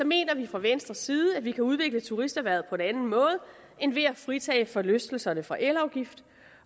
mener vi fra venstres side at vi kan udvikle turisterhvervet på en anden måde end ved at fritage forlystelserne for elafgift